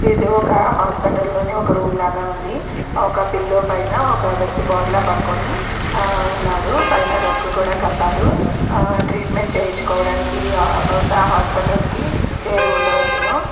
ఇది ఒక హాస్పిటల్ లోని ఒక రూమ్ లాగా ఉంది ఒక పిల్లో పైన ఒక వ్యక్తి బోర్లా పడుకొని ఆ ఉన్నాడు పైన రగ్గు కూడా కప్పారు ఆ ట్రీట్మెంట్ చేయించుకోడానికి ఆ బహుశా హాస్పిటల్ కి చేరి ఉండవచ్చును.